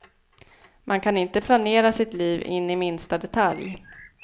Man kan inte planera sitt liv in i minsta detalj.